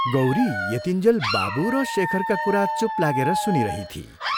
गौरी यतिन्जेल बाबु र शेखरका कुरा चूप लागेर सुनिरहिथी।